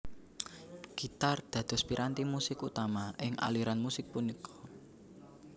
Gitar dados piranti musik utama ing aliran musik punika